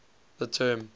the term